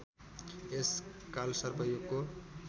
यस कालसर्प योगको